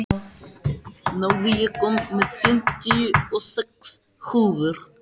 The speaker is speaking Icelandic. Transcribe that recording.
Náð, ég kom með fimmtíu og sex húfur!